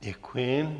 Děkuji.